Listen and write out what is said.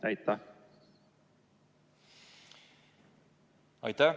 Aitäh!